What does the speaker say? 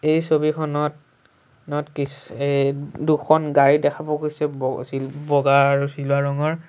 এই ছবিখনত নত কিছ এ দুখন গাড়ী দেখা পোৱা গৈছে ব চি বগা আৰু চিলভাৰ ৰঙৰ।